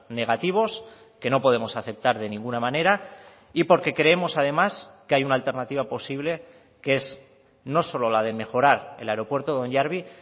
negativos que no podemos aceptar de ninguna manera y porque creemos además que hay una alternativa posible que es no solo la de mejorar el aeropuerto de onyarbi